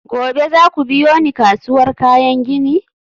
gobe za ku biyo ni kasuwar kayan gini?